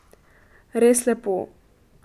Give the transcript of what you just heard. Res lepo.